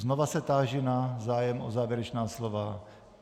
Znova se táži na zájem o závěrečná slova.